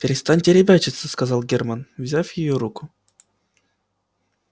перестаньте ребячиться сказал германн взяв её руку